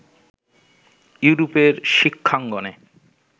ইউরোপের শিক্ষাঙ্গনে